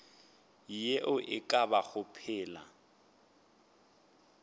ye e ka bago phela